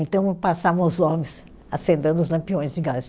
Então passavam os homens acendendo os lampiões de gás.